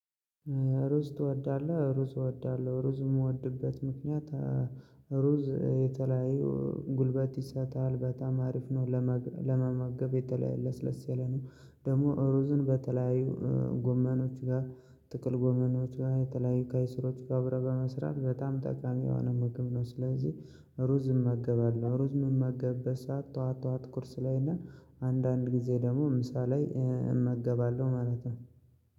ሩዝ ትወዳለህ? ሩዝ እወዳለሁ ሩዝ የምወድበት ምክንያት አአ ሩ ሩዝ የተለያዩ ጉልበት ይሰጣል በጣም አሪፍ ነው። ለመመገብ የተለ ለስለስ ያለ ነው። ደግሞ ሩዝን በተለያዩ እእ ጎመኖች ጋር ጥቅል ጎመኖች ጋር የተለያዩ ቀይስሮች ጋር አብረ በመስራት በጣም ጠቃሚ የሆነ ምግብ ነው። ስለዚህ ሩዝ እመገባለሁ ሩዝ የምመገበት ሰዓት ጠዋት ጠዋት ቁርስ ላይ እና አንዳንድ ጊዜ ደግሞ ምሳ ላይ። እመገባለሁ ማለት ነው።